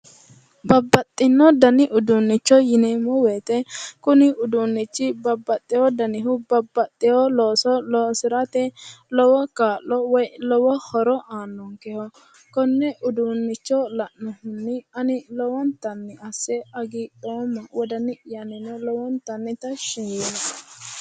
Babbaxino dani uduunicho yineemo woyite kuni uduunichi babbaxewo danihu babbaxewo looso loosirate lowo kaa'lo woyi lowo horo aanonikeho konne uduunicho la'nohunni ani lowonitanni asse hagiidhoma wodani'yano lowonitanni tashshi yiinoe